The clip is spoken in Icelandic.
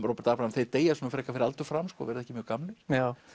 Róbert Abraham þeir deyja svona frekar fyrir aldur fram verða ekki mjög gamlir já